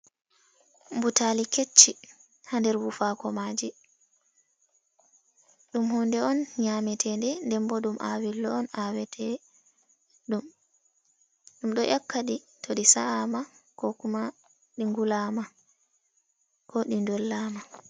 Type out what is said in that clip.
Butali kecchi ha nder bufa komaje. Ɗum hunde on nyameteɗen. Dembo ɗum awillo on awete ɗum. Ɗum do 'yakka ɗi to ɗi sa’a ma ko kuma di ngulama ko ɗi dollama.